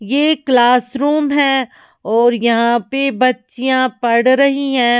ये एक क्लासरूम है और यहां पे बच्चियां पढ़ रही हैं।